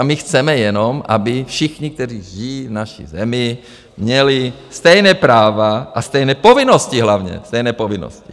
A my chceme jenom, aby všichni, kteří žijí v naši zemi, měli stejná práva a stejné povinnosti - hlavně stejné povinnosti.